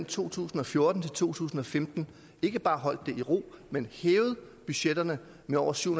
to tusind og fjorten til to tusind og femten ikke bare holdt det i ro men hævet budgetterne med over syv